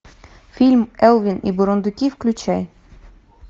фильм элвин и бурундуки включай